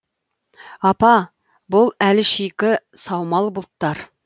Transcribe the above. апа бұл әлі шикі саумал бұлттар